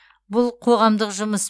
бұл қоғамдық жұмыс